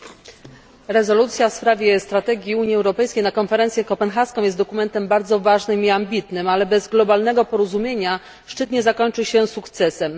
Pani przewodnicząca! Rezolucja w sprawie strategii Unii Europejskiej na konferencję kopenhaską jest dokumentem bardzo ważnym i ambitnym, ale bez globalnego porozumienia szczyt nie zakończy się sukcesem.